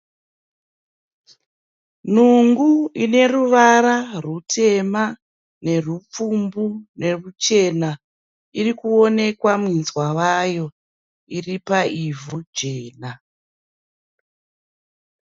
Nungu ine ruvara rutema nerupfumbu neruchena. Iri kuonekwa minzwa wayo, iri paivhu jena.